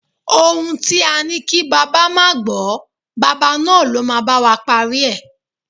Ohún tí á ni kí bàbá ma gbó, bàbá náà lọ́ ma ba wa parí e